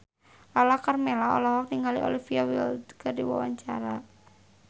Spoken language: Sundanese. Lala Karmela olohok ningali Olivia Wilde keur diwawancara